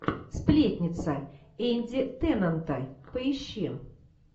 сплетница энди теннанта поищи